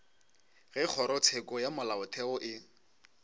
ge kgorotsheko ya molaotheo e